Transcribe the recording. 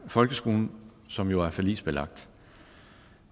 folkeskolen som jo er forligsbelagt